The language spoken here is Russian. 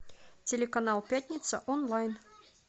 телеканал пятница онлайн